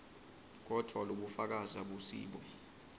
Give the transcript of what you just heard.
kodvwa lobufakazi abusibo